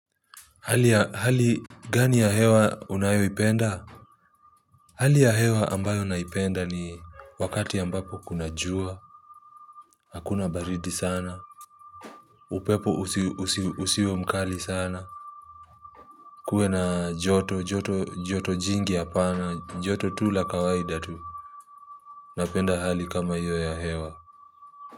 Hali ya hali gani ya hewa unayoipenda? Hali ya hewa ambayo naipenda ni wakati ambapo kuna jua. Hakuna baridi sana upepo usio mkali sana. Kuwe na joto joto jingi hapana joto tu la kawaida tu. Napenda hali kama hiyo ya hewa.